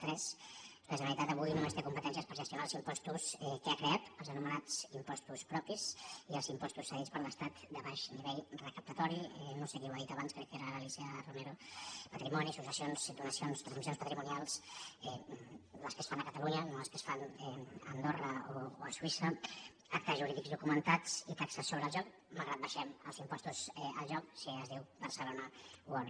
tres la generalitat avui només té competències per gestionar els impostos que ha creat els anomenats impostos propis i els impostos cedits per l’estat de baix nivell recaptatori no sé qui ho ha dit abans crec que era l’alícia romero patrimoni successions donacions transmissions patrimonials les que es fan a catalunya no les que es fan a andorra o a suïssa actes jurídics documentats i taxes sobre el joc malgrat que abaixem els impostos al joc si es diu barcelona world